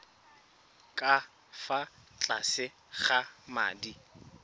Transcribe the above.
ka fa tlase ga madi